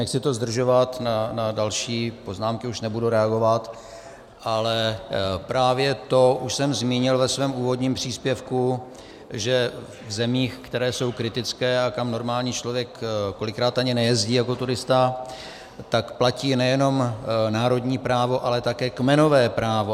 Nechci to zdržovat, na další poznámky už nebudu reagovat, ale právě to už jsem zmínil ve svém úvodním příspěvku, že v zemích, které jsou kritické a kam normální člověk kolikrát ani nejezdí jako turista, tak platí nejenom národní právo, ale také kmenové právo.